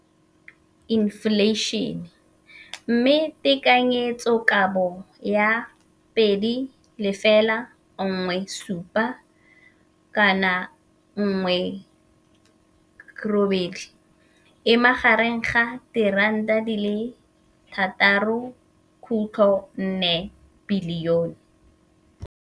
Infleišene, mme tekanyetsokabo ya 2017, 18, e magareng ga R6.4 bilione.